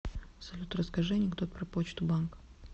салют расскажи анекдот про почту банк